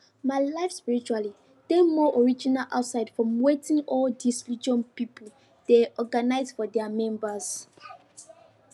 my life spiritually dey more original outside from wetin all dis religion pipo dey organize for their members